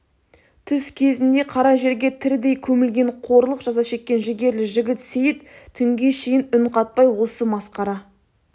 түс кезінде қара жерге тірідей көмілген қорлық жаза шеккен жігерлі жігіт сейіт түнге шейін үн қатпай осы масқара